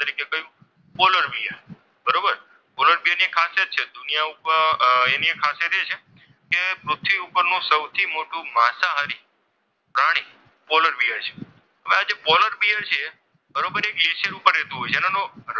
polar બિયરની એક ખાસિયત છે એની એક ખાસિયત એ છે કે પૃથ્વી ઉપર સૌથી મોટો માંસાહારી પ્રાણી પોલર બિયર છે, હવે આજે પોલર બિયર છે બરોબર એ ગ્લેસીયર ઉપર રહેતો હોય છે અને એનો,